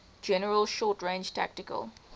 general short range tactical